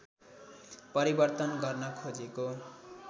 परिवर्तन गर्न खोजेको